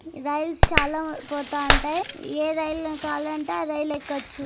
Rails చాలా పోతా ఉంటాయి. ఏ రైల్ కావాలంటే ఆ రైల్ ఎక్కచ్చు.